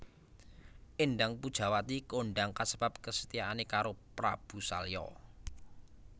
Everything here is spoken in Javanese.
Éndang Pujawati kondang kasebab kesetiaane karo Prabu Salya